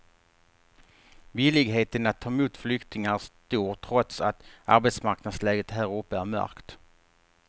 Villigheten att ta emot flyktingar är stor trots att arbetsmarknadsläget här uppe är mörkt.